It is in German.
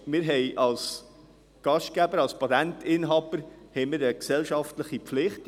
Wir haben als Gastgeber, als Patentinhaber, eine gesellschaftliche Pflicht.